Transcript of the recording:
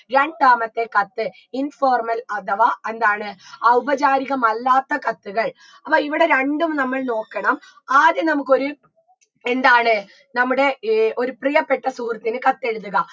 രണ്ടാമത്തെ കത്ത് informal അധവാ എന്താണ് ഔപചാരികമല്ലാത്ത കത്തുകൾ അപ്പൊ ഇവിടെ രണ്ടും നമ്മള് നോക്കണം ആദ്യം നമുക്കൊരു എന്താണ് നമ്മുടെ ഏർ ഒരു പ്രിയപ്പെട്ട സുഹൃത്തിന് കത്തെഴുതുക